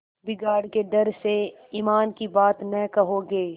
बिगाड़ के डर से ईमान की बात न कहोगे